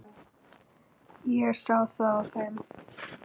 Ég sá það á þeim.